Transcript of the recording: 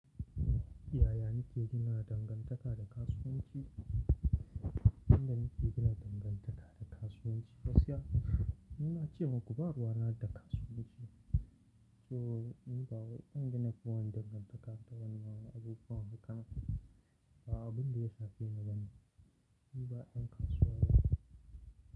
Yaya nike gina dangantaka da kasuwanci? Inda nike gina dangantaka da kasuwanci, gaskiya ni na ce muku ba ruwa na da kasuwanci. So ni ba wai in gina kowane dangantaka da wani abu kawai haka ba abu da ya shafi na bane. Ni ba yan kasuwa ne.